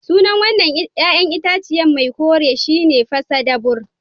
Sunan wan nan ƴa'ƴan itace mai kore shi ne pasadabur.